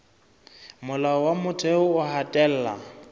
molao wa motheo o hatella